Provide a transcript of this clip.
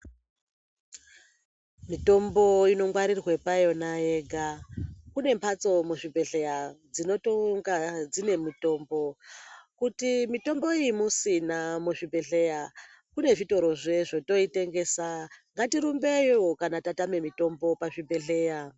Mitombo inongwarirwe payona yega. Kune mbatso muzvibhehleya dzinotonga dzine mitombo. Kuti mitombo iyi musina muzvibhehleya, kune zvitorozve zvotoitengesa. Ngatirumbeyo kana tatame mitombo pazvibhehleya.